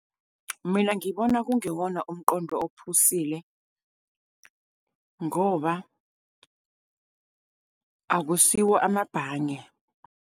Mina ngibona kungewona umqondo ophusile, ngoba akusiwo amabhange.